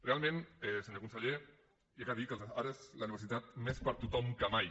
realment senyor conseller cal dir que ara és la universitat més per a tothom que mai